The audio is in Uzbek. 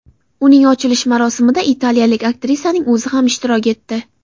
Uning ochilish marosimida italiyalik aktrisaning o‘zi ham ishtirok etdi.